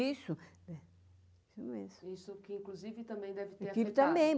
Isso. Que inclusive também deve ter afetado. também!